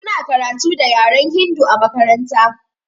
Suna karatu da yaren hindu a makaranta.